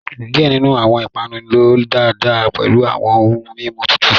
Diẹ ninu awọn ipanu lọ daadaa pẹlu awọn ohun mimu tutu